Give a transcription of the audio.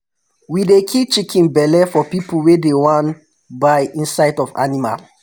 we dey keep chicken belle for pipu wey dey wan buy inside of animal